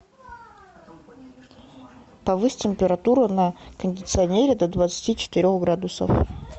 повысь температуру на кондиционере до двадцати четырех градусов